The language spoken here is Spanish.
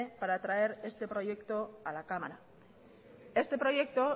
para traer este proyecto a la cámara este proyecto